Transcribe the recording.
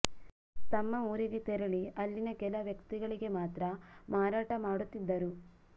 ತಮ್ಮ ಊರಿಗೆ ತೆರಳಿ ಅಲ್ಲಿನ ಕೆಲ ವ್ಯಕ್ತಿಗಳಿಗೆ ಮಾತ್ರ ಮಾರಾಟ ಮಾಡುತ್ತಿದ್ದರು